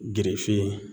Girife